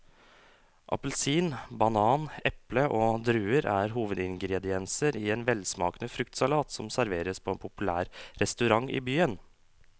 Appelsin, banan, eple og druer er hovedingredienser i en velsmakende fruktsalat som serveres på en populær restaurant i byen.